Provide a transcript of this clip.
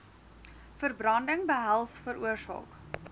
verbranding behels veroorsaak